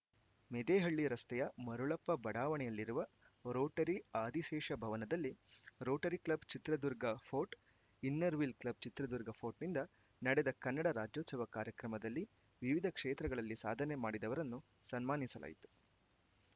ಮೆದೇಹಳ್ಳಿ ರಸ್ತೆಯ ಮರುಳಪ್ಪ ಬಡಾವಣೆಯಲ್ಲಿರುವ ರೋಟರಿ ಆದಿಶೇಷ ಭವನದಲ್ಲಿ rotary club Chitradurga fort inner wheel club Chitradurga ಫೋರ್ಟ್‌ನಿಂದ ನಡೆದ ಕನ್ನಡ ರಾಜ್ಯೋತ್ಸವ ಕಾರ್ಯಕ್ರಮದಲ್ಲಿ ವಿವಿಧ ಕ್ಷೇತ್ರಗಳಲ್ಲಿ ಸಾಧನೆ ಮಾಡಿದವರನ್ನು ಸನ್ಮಾನಿಸಲಾಯಿತು